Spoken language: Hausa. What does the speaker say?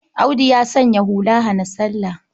Audu ya sanya hula hana-salla.